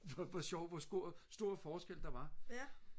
for sjov hvor stor forskel der var